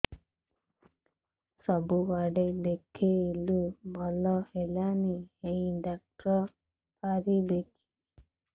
ସବୁଆଡେ ଦେଖେଇଲୁ ଭଲ ହେଲାନି ଏଇ ଡ଼ାକ୍ତର ପାରିବେ କି